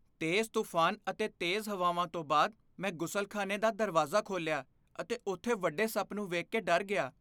ਤੇਜ਼ ਤੂਫਾਨ ਅਤੇ ਤੇਜ਼ ਹਵਾਵਾਂ ਤੋਂ ਬਾਅਦ, ਮੈਂ ਗੁਸਲਖ਼ਾਨੇ ਦਾ ਦਰਵਾਜ਼ਾ ਖੋਲ੍ਹਿਆ ਅਤੇ ਉੱਥੇ ਵੱਡੇ ਸੱਪ ਨੂੰ ਵੇਖ ਕੇ ਡਰ ਗਿਆ।